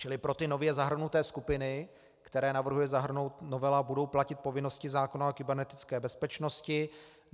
Čili pro ty nově zahrnuté skupiny, které navrhuje zahrnout novela, budou platit povinnosti zákona o kybernetické bezpečnosti.